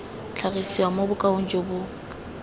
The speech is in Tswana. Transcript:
tlhagisiwa mo bokaong jo bo